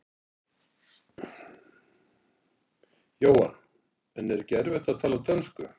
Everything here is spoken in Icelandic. Jóhann: En er ekki erfitt að tala dönsku?